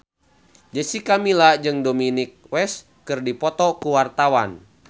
Jessica Milla jeung Dominic West keur dipoto ku wartawan